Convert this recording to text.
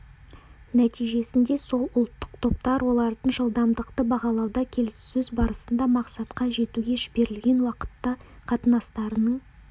нәтижесінде сол ұлттық топтар олардың жылдамдықты бағалауда келіссөз барысында мақсатқа жетуге жіберілген уақытта қатынастарының